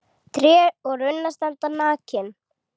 Tré og runnar standa nakin.